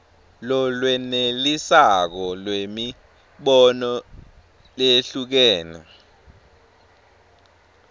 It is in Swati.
lolwenelisako lwemibono leyehlukene